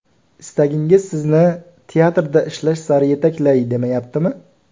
Istagingiz sizni teatrda ishlash sari yetaklay, demayaptimi?